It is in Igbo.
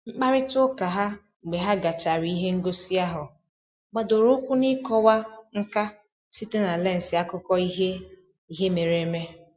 Mkparịta ụka ha mgbe ha gachara ihe ngosi ahụ gbadoro ụkwụ n'ịkọwa nka site na lensị akụkọ ihe ihe mere eme